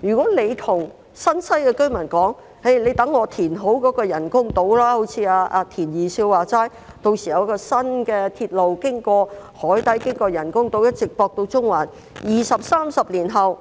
如果局長告訴新界西居民，待政府填好人工島後，正如"田二少"所說，屆時將會有新的鐵路經過海底，再經過人工島，一直接駁到中環，但二三十年後，